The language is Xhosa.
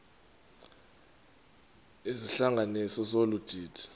izihlanganisi zolu didi